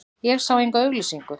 Ég sá enga auglýsingu.